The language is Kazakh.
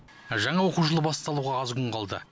жаңа оқу жылы басталуға аз күн қалды